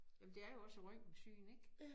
Jamen det er jo også et røntgensyn ik